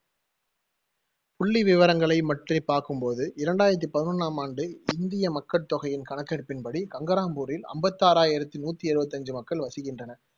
புள்ளி விவரங்களை பார்க்கும் போது இரண்டாயிரத்தி பதினொண்ணாம் ஆண்டு இந்திய மக்கட் தொகையின் கணக்கெடுப்பின்படி கங்கராம்பூரில் அம்பத்தி ஆறாயிரத்தி நூத்தி எழுவத்தி அஞ்சு மக்கள் வசிக்கின்றனர்.